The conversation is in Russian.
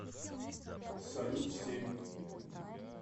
салют семь